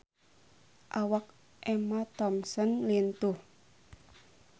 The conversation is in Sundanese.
Awak Emma Thompson lintuh